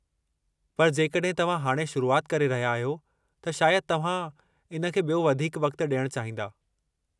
पर जेकॾहिं तव्हां हाणे शुरुआति करे रहिया आहियो, त शायदि तव्हां इन खे ॿियो वधीकु वक़्त ॾियणु चाहींदा।